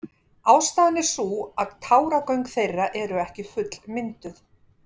ástæðan er sú að táragöng þeirra eru ekki fullmynduð